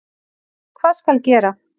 Hvað skal gera?